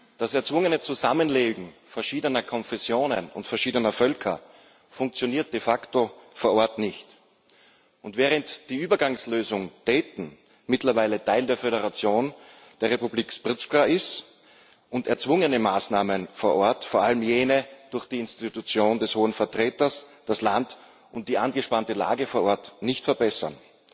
Das erzwungene Zusammenleben verschiedener Konfessionen und verschiedener Völker funktioniert de facto vor Ort nicht, während die Übergangslösung Dayton mittlerweile Teil der Föderation und der Republika Srpska ist und erzwungene Maßnahmen vor Ort vor allem jene durch die Institution des Hohen Vertreters das Land und die angespannte Lage vor Ort nicht verbessern.